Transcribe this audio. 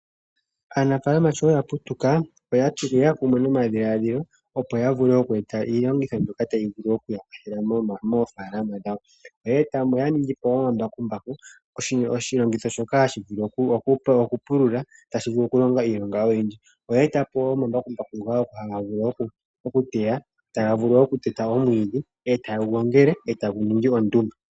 Aanafalama shoya putuka oyeya kumwe nomadhiladhilo opo ya vule oku eta iilongitho mbyoka tayi ya kwathele moofalama dhawo. Oya ningi po embakumbaku, oshilongitho shono hashi vulu oku pulula noku longa iilonga oyindji. Oya eta po wo omambakumbaku ngoka haga vulu okuteya, oku teta po omwiidhi etaga wu gongele etage yi ningi ondumba.